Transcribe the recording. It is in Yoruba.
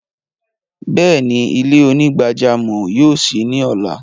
Bẹẹni, ilẹ̀-onígbàjàmọ́ yóò ṣí ni ọla.